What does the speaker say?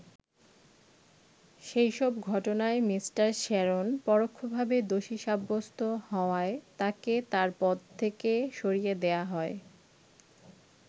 সেই সব ঘটনায় মি. শ্যারন পরোক্ষভাবে দোষী সাব্যস্ত হওয়ায় তাকে তার পদ থেকে সরিয়ে দেয়া হয়।